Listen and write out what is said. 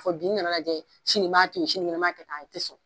Fɔ bi n nana lajɛ sini' n b'a to ye sinikɛnɛ n b'a kɛ k'a a te sɔn